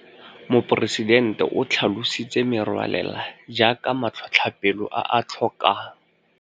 Moporesidente o tlhalositse merwalela jaaka matlhotlhapelo a a tlhokang.